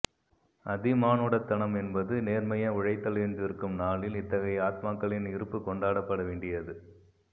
அதிமானுடத்தனம் என்பது நேர்மையாய் உழைத்தல் என்றிருக்கும் நாளில் இத்தகைய ஆத்மாக்களின் இருப்பு கொண்டாடப் பட வேண்டியது